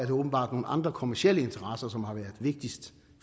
det åbenbart nogle andre kommercielle interesser som har været vigtigst